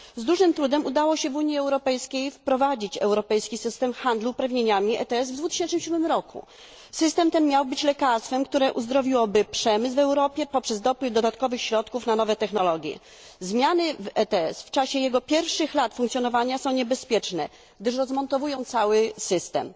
Z dużym trudem udało się w Unii Europejskiej wprowadzić europejski system handlu uprawnieniami ETS w 2007 r. System ten miał być lekarstwem, które uzdrowiłoby przemysł w Europie poprzez dopływ dodatkowych środków na nowe technologie. Zmiany w ETS w czasie jego pierwszych lat funkcjonowania są niebezpieczne, gdyż rozmontowują cały system.